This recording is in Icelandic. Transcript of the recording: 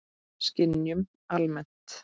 Skynjun almennt